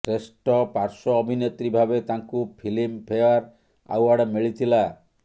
ଶ୍ରେଷ୍ଟ ପାର୍ଶ୍ୱ ଅଭିନେତ୍ରୀ ଭାବେ ତାଙ୍କୁ ଫିଲ୍ମ ଫେୟାର ଆୱାର୍ଡ଼ ମିଳିଥିଲା